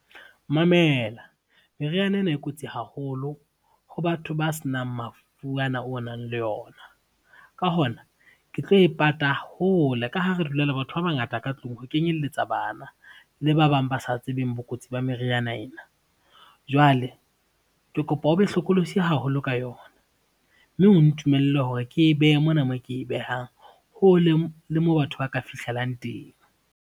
Mamela meriana ena e kotsi haholo ho batho ba senang mafu ana o nang le yona. Ka hona, ke tlo e pata hole ka ha re dula le batho ba bangata ka tlung ho kenyelletsa bana, le ba bang ba sa tsebeng bokotsi ba meriana ena. Jwale ke kopa o be hlokolosi haholo ka yona, mme o ntumelle hore ke e behe mona moo ke behang, hole le mo batho ba ka fihlelang teng.